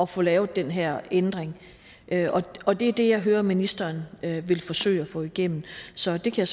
få lavet den her ændring og det er det jeg hører ministeren vil forsøge at få igennem så det kan